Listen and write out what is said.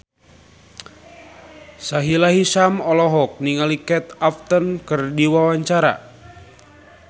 Sahila Hisyam olohok ningali Kate Upton keur diwawancara